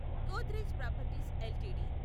Godrej properties LTD